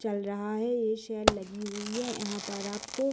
चल रहा है ये सेल लगी हुई है यहाँ पर आपको --